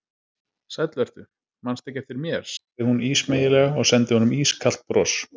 Sæll vertu, mannstu ekki eftir mér sagði hún ísmeygilega og sendi honum ískalt bros.